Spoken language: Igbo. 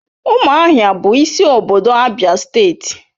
Ụmụahia bụ isi obodo Abia steeti.